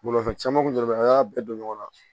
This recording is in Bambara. Bolimafɛn caman kun de bɛ an y'a bɛɛ don ɲɔgɔn na